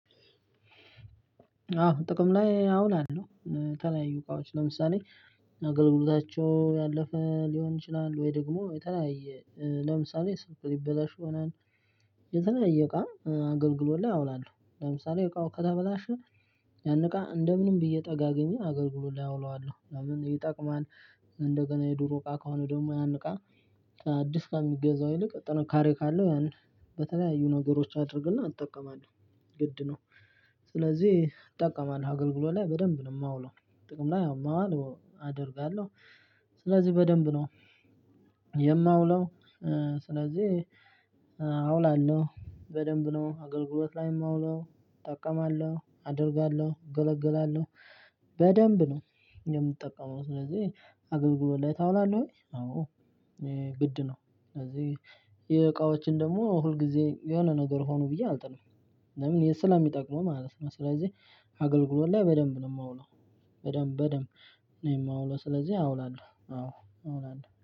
አዎ ጥቅም ላይ አውላለሁ የተለያዩ እቃዎች ለምሳሌ አገልግሎታቸው ያለፈ ሊሆን ይችላል ወይ ደግሞ የተለያየ ለምሳሌ ስልክ ሊበላሽ ይሆናል የተለያየ እቃ አገልግሎት ላይ አውላለው ለምሳሌ እቃው ከተበላሸ ያን እቃ እንደምንም ብዬ ጠጋግኘ አገልግሎት ላይ አውለዋለሁ ለምን ይጠቅማል? እንደገና የዱሮ እቃ ከሆነ ደግሞ ያን እቃ አዲስ ከሚገዛው ይልቅ ጥንካሬ ካለው ያን በተለያዩ ነገሮች አድርግና እጠቀማለሁ ግድ ነው። ስለዚህ እጠቀማለሁ አገልግሎት ላይ በደንብ ነው የማውለው ጥቅም ላይ ማዋል አደርጋለሁ። ስለዚህ በደንብ ነው የማውለው ስለዚህ አውላለሁ በደንብ ነው አገልግሎት ላይ የማውለው እጠቀማለሁ አደርጋለሁ እገለገላለሁ። በደንብ ነው የምትጠቀመው ስለዚህ አገልግሎት ላይ ታውላለህ ወይ አዎ? ግድ ነው ስለዚህ የእቃዎችን ደግሞ ሁል ጊዜ የሆነ ነገር ሆኖ ብዬ አልጥለውም። ለምን ስለሚጠቅሙ ማለት ነው። ስለዚህ አገልግሎት ላይ በደንብ ነው የማውለው። በደንብ በደንብ ነው የማውለው ስለዚህ አውላለሁ አዎ አውላለሁ